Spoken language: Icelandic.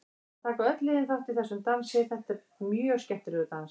Það taka öll liðin þátt í þessum dansi, þetta er mjög skemmtilegur dans.